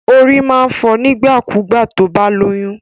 Orí máa ń fọ nígbà kú gbà tó bá lóyún